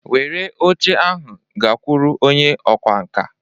Were oche ahụ gakwuru onye ọkwá nkà.